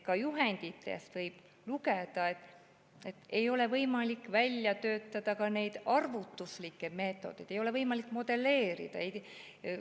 Ka juhenditest võib lugeda, et ei ole võimalik välja töötada neid arvutuslikke meetodeid, ei ole võimalik modelleerida.